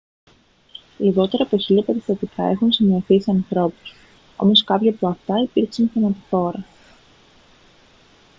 λιγότερα από χίλια περιστατικά έχουν σημειωθεί σε ανθρώπους όμως κάποια από αυτά υπήρξαν θανατηφόρα